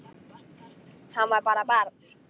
Hann var bara barn.